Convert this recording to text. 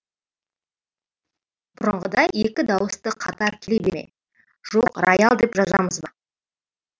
бұрынғыдай екі дауысты қатар келе ме жоқ райал деп жазамыз ба